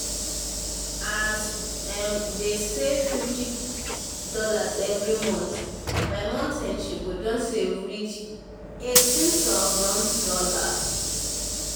as as um emma dey um save 50 dollar every month by month end she go doh save reach um 18000 dollars.